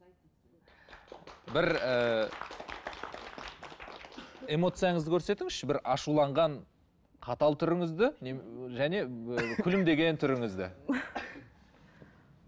бір ііі эмоцияңызды көрсетіңізші бір ашуланған қатал түріңізді және ііі күлімдеген түріңізді